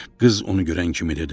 Qız onu görən kimi dedi: